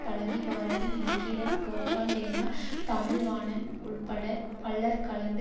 பழநிபாரதி நக்கீரன் கோபால் லேனா தமிழ்வாணன் உள்பட பலர் கலந்து